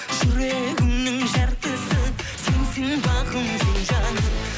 жүрегімнің жартысы сенсің бағым сен жаным